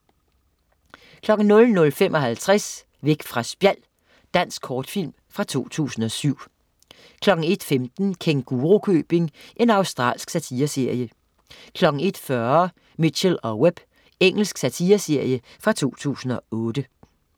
00.55 Væk fra spjald. Dansk kortfilm fra 2007 01.15 Kængurukøbing. Australsk satireserie 01.40 Mitchell & Webb. Engelsk satireserie fra 2008